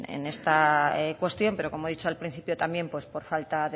en esta cuestión pero como he dicho al principio también por falta